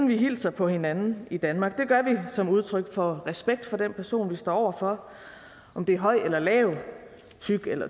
vi hilser på hinanden i danmark det gør vi som udtryk for respekt for den person vi står over for om det er høj eller lav tyk eller